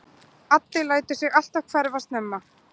Addi lætur sig alltaf hverfa snemma.